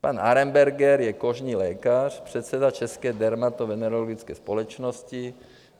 Pan Arenberger je kožní lékař, předseda České dermatovenerologické společnosti.